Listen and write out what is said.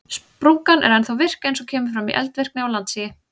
Sprungan er ennþá virk eins og kemur fram í eldvirkni og landsigi.